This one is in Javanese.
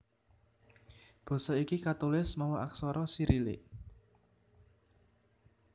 Basa iki katulis mawa aksara Sirilik